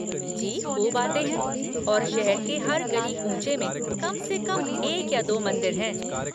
जी खूब आते हैं और शहर के हर गली कूँचे में कम से कम एक या दो मंदिर हैं।